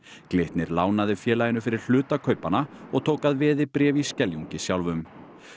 Glitnir lánaði félaginu fyrir hluta kaupanna og tók að veði bréf í Skeljungi sjálfum